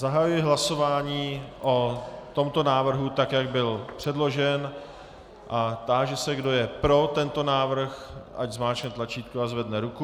Zahajuji hlasování o tomto návrhu, tak jak byl předložen, a táži se, kdo je pro tento návrh, ať zmáčkne tlačítko a zvedne ruku.